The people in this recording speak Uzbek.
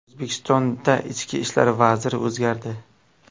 O‘zbekistonda Ichki ishlar vaziri o‘zgardi.